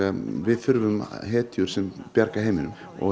við þurfum hetjur sem bjarga heiminum og